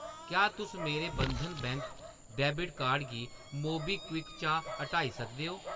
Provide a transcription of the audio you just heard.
क्या तुस मेरे बंधन बैंक डैबिट कार्ड गी मोबीक्विक चा हटाई सकदे ओ ?